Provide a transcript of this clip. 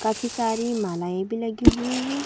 काफी सारी मालाएभी लगी हुई है।